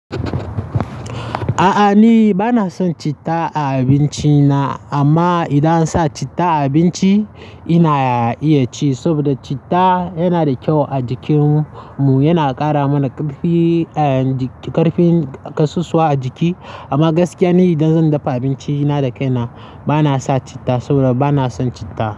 A'a ni bana son citta a abinci na, amma idan an sa citta a abinci ina iya ci saboda citta yana da kyau a jikin mu. Yana ƙara mana ƙarfin kasusuwa a jiki. Amma gaskiya ni idan zan dafa abinci na da kaina bana sa citta saboda bana son citta.